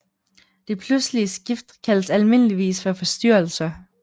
De pludselige skift kaldes almindeligvis for forstyrrelser